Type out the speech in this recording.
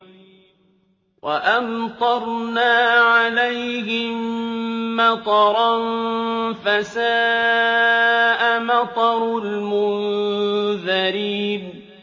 وَأَمْطَرْنَا عَلَيْهِم مَّطَرًا ۖ فَسَاءَ مَطَرُ الْمُنذَرِينَ